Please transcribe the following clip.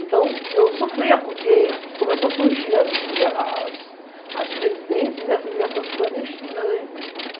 Então, eu sofria porque começou a surgir as residências e as ligações clandestinas, né?